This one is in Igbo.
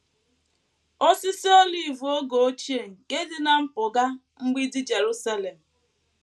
Osisi olive oge ochie nke dị ná mpụga mgbidi Jerusalem